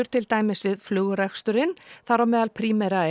til dæmis við flugreksturinn þar á meðal Primera